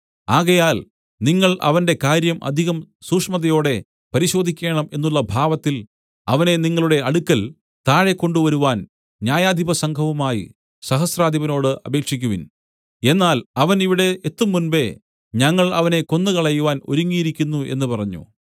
ആകയാൽ നിങ്ങൾ അവന്റെ കാര്യം അധികം സൂക്ഷ്മതയോടെ പരിശോധിക്കേണം എന്നുള്ള ഭാവത്തിൽ അവനെ നിങ്ങളുടെ അടുക്കൽ താഴെ കൊണ്ടുവരുവാൻ ന്യായാധിപസംഘവുമായി സഹസ്രാധിപനോട് അപേക്ഷിക്കുവിൻ എന്നാൽ അവൻ ഇവിടെ എത്തുംമുമ്പെ ഞങ്ങൾ അവനെ കൊന്നുകളയുവാൻ ഒരുങ്ങിയിരിക്കുന്നു എന്നു പറഞ്ഞു